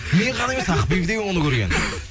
мен ғана емес ақбибі де оны көрген